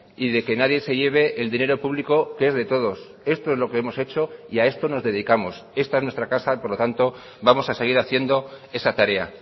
y de que nadie se lleve el dinero público que es de todos esto es lo que hemos hecho y a esto nos dedicamos esta es nuestra casa y por lo tanto vamos a seguir haciendo esa tarea